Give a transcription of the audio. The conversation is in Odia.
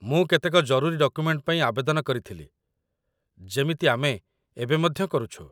ମୁଁ କେତେକ ଜରୁରୀ ଡକୁମେଣ୍ଟ ପାଇଁ ଆବେଦନ କରିଥିଲି, ଯେମିତି ଆମେ ଏବେ ମଧ୍ୟ କରୁଛୁ